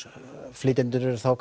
flytjendur eru þá